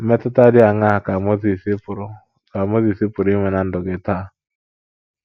Mmetụta dị aṅaa ka Mozis pụrụ ka Mozis pụrụ inwe ná ndụ gị taa?